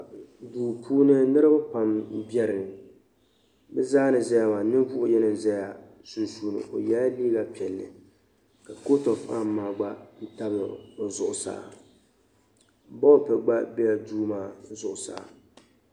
Duu puuni niriba pam m-be bɛ zaa ni ʒiya maa ka ninvuɣ’yino be sunsuuni o yɛla leega piɛlli ka koot-ɛnam gba tabi o zuɣusaa bolifu gba be duu maa zuɣusaa